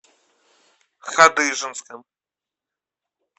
хадыженском